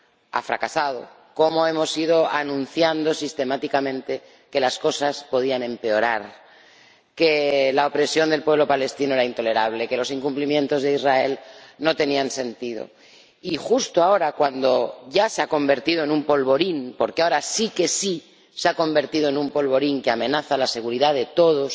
ha fracasado, cómo hemos ido anunciando sistemáticamente que las cosas podrían empeorar, que la opresión del pueblo palestino era intolerable, que los incumplimientos de Israel no tenían sentido. Y justo ahora, cuando ya se ha convertido en un polvorín, porque ahora sí que se ha convertido en un polvorín que amenaza la seguridad de todos,